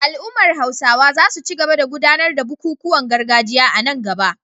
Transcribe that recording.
Al’ummar Hausawa za su ci gaba da gudanar da bukukuwan gargajiya a nan gaba